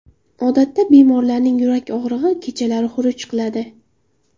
Odatda bemorlarning yurak og‘rig‘i kechalari xuruj qiladi.